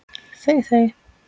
Þey þey!